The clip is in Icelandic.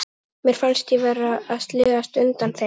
Mér fannst ég vera að sligast undan þeim.